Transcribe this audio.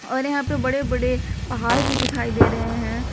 और यहां पे बड़े बड़े पहाड़ भी दिखाई दे रहे हैं।